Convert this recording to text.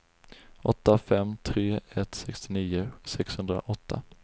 åtta fem tre ett sextionio sexhundraåtta